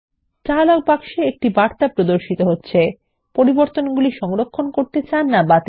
একটি dialogue box বার্তা সহিত প্রদর্শিত হবে পরিবর্তনগুলি সংরক্ষণ করতে চান বা বাতিল